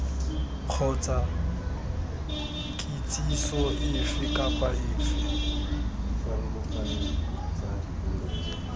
kgotsa kitsiso efe kapa efe